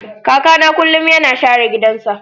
kakana kullum yana share gidansa.